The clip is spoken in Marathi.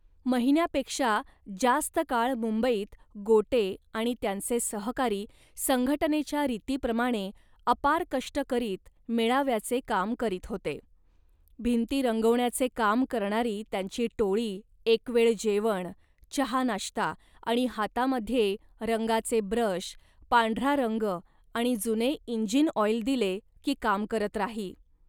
महिन्यापेक्षा जास्त काळ मुंबईत गोटे आणि त्यांचे सहकारी संघटनेच्या रीतीप्रमाणे अपार कष्ट करीत मेळाव्याचे काम करीत होते. भिंती रंगवण्याचे काम करणारी त्यांची टोळी एकवेळ जेवण, चहानाश्ता आणि हातामध्ये रंगाचे ब्रश, पांढरा रंग आणि जुने इंजिन ऑइल दिले, की काम करत राही